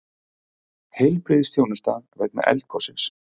Heilbrigðisþjónusta vegna eldgossins